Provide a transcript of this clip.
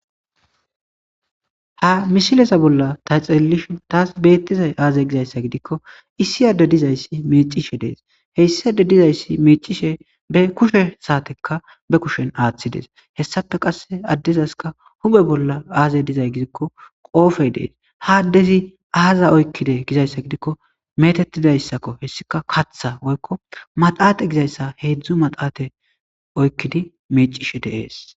Ha mishilesa bolla ta xeelelishin taas beettizay aazey gizayssa gidikko issi adde dizayssi mecishe dees heyssade dizayssi mecishe be kushe saatekka be kushen aaththidees hessafe qasse addezaska hume bolla aazey dizay gidikko qoofey dees ha addezi aaza oykkide gizayssa gidikko metettidayssakko hessika katha woykko maxate gizayssa heedzdzu maxaate oykkidi mecishe deees.